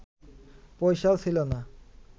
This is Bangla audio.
পয়সাও ছিল না